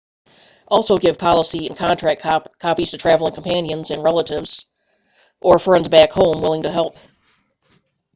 also give policy/contact copies to traveling companions and relatives or friends back home willing to help